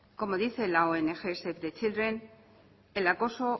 como dice la ong save the children el acoso